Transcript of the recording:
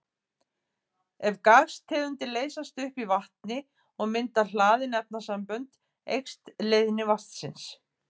Ef gastegundir leysast upp í vatni og mynda hlaðin efnasambönd eykst leiðni vatnsins.